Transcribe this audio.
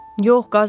Yox, qaznan.